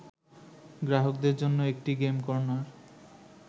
গ্রাহকদের জন্য একটি গেম কর্নার